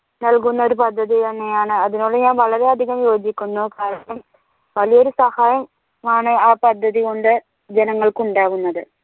നൽകുന്നൊരു പദ്ധതി തന്നെയാണ് അതിനോട് ഞാൻ വളരെ അധികം യോജിക്കുന്നു വലിയൊരു സഹായം ആണ് ആ പദ്ധതി കൊണ്ട് ജനങ്ങൾക്ക് ഉണ്ടാകുന്നതു